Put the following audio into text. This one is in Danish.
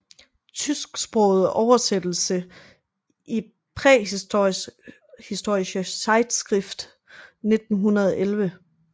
Tysksproget oversættelse i Prähistorische Zeitschrift 1911